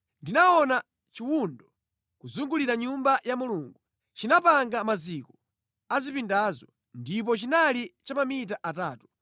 Ndinaona chiwundo kuzungulira Nyumba ya Mulungu. Chinapanga maziko a zipindazo ndipo chinali cha mamita atatu.